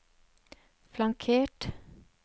flankert